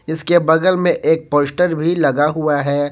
इसके बगल में एक पोस्टर भी लगा हुआ है।